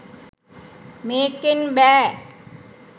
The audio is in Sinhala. මේකෙන් බෑ